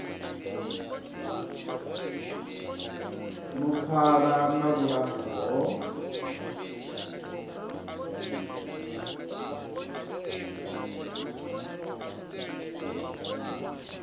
no pfala na vhulapfu ho